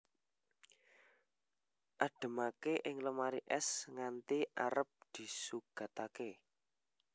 Ademake ing lemari es nganti arep disugatake